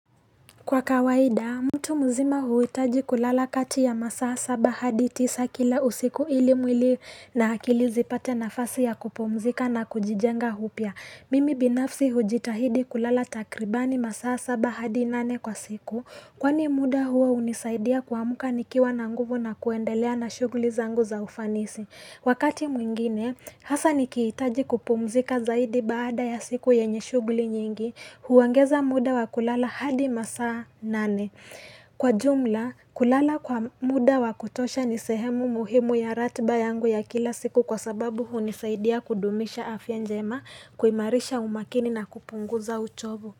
Kwa kawaida, mtu mzima huhitaji kulala kati ya masaa saba hadi tisa kila usiku ili mwili na akili zipate nafasi ya kupumzika na kujijenga upya. Mimi binafsi hujitahidi kulala takribani masaa saba hadi nane kwa siku Kwani muda huo hunisaidia kuamka nikiwa na nguvu na kuendelea na shughuli zangu za ufanisi. Wakati mwingine, hasa ni kihitaji kupumzika zaidi baada ya siku yenye shughuli nyingi, huongeza muda wa kulala hadi masaa nane. Kwa jumla, kulala kwa muda wa kutosha nisehemu muhimu ya ratba yangu ya kila siku kwa sababu hunisaidia kudumisha afya njema, kuhimarisha umakini na kupunguza uchovu.